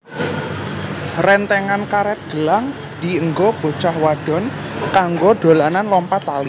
Rentengan karet gelang dienggo bocah wadon kanggo dolanan lompat tali